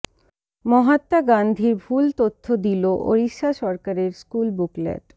মহাত্মা গান্ধীর ভুল তথ্য দিল ওড়িশা সরকারের স্কুল বুকলেট